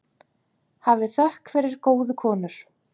Hafið þökk fyrir góðu konur.